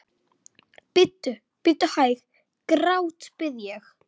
Bíddu, bíddu hæg, grátbið ég.